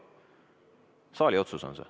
See on saali otsus.